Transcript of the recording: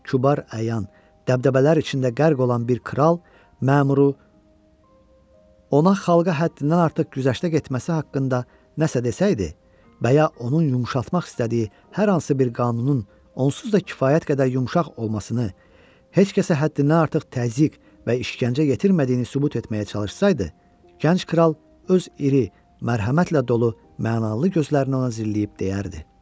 Kübar əyan, dəbdəbələr içində qərq olan bir kral məmuru ona xalqa həddindən artıq güzəştə getməsi haqqında nəsə desəydi, və ya onun yumşaltmaq istədiyi hər hansı bir qanunun onsuz da kifayət qədər yumşaq olmasını, heç kəsə həddindən artıq təzyiq və işgəncə yetirmədiyini sübut etməyə çalışsaydı, gənc kral öz iri, mərhəmətlə dolu mənalı gözləri ilə ona zilləyib deyərdi: